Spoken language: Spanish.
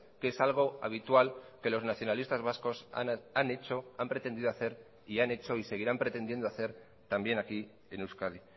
que es algo habitual que los nacionalistas vascos han hecho han pretendido hacer y han hecho y seguirán pretendiendo hacer también aquí en euskadi